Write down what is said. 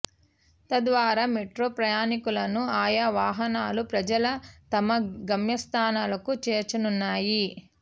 తద్వారా మెట్రో ప్రయాణికులను ఆయా వాహనాలు ప్రజల తమ గమ్య స్థానాలకు చేర్చనున్నాయి